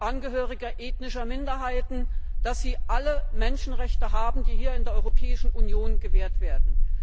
Angehörige ethnischer Minderheiten alle Menschenrechte haben, die hier in der Europäischen Union gewährt werden.